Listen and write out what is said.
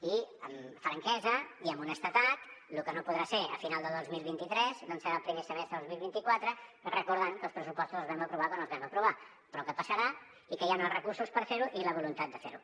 i amb franquesa i amb honestedat lo que no podrà ser a final de dos mil vint tres doncs serà al primer semestre de dos mil vint quatre recordant que els pressupostos els vam aprovar quan els vam aprovar però que passarà i que hi han els recursos per fer ho i la voluntat de fer ho